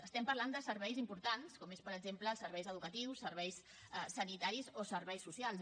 estem parlant de serveis importants com són per exemple els serveis educatius serveis sanitaris o serveis socials